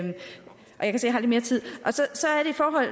jeg har lidt mere tid